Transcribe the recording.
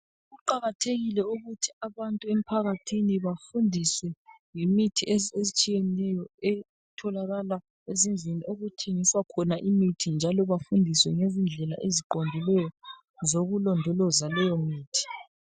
Kuqakathekile ukuthi abantu emphakathini bafundiswe ngemithi etshiyeneyo etholakala ezindlini okuthengiswa khona imithi njalo bafundiswe ngezindlela eziqondileyo zokulondoloza leyomithi.